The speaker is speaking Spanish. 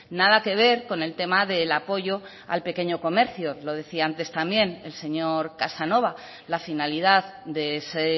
nada que ver con el tema del apoyo al pequeño comercio lo decía antes también el señor casanova la finalidad de ese